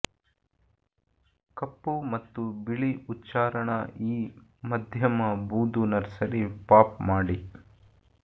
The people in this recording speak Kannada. ಕಪ್ಪು ಮತ್ತು ಬಿಳಿ ಉಚ್ಚಾರಣಾ ಈ ಮಧ್ಯಮ ಬೂದು ನರ್ಸರಿ ಪಾಪ್ ಮಾಡಿ